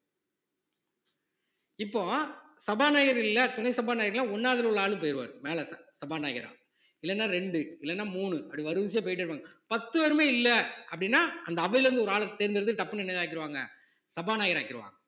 இப்போ சபாநாயகர் இல்லை துணை சபாநாயகர் இல்லை ஒண்ணாவதிலே உள்ள ஆளும் போயிடுவாரு மேலே சபாநாயகரா இல்லைன்னா இரண்டு இல்லைன்னா மூணு அப்படி வரிசையா போயிட்டே இருப்பாங்க பத்து பேருமே இல்லை அப்படின்னா அந்த அவையிலிருந்து ஒரு ஆளை தேர்ந்தெடுத்து டப்புன்னு என்னதான் ஆக்கிருவாங்க சபாநாயகர் ஆக்கிருவாங்க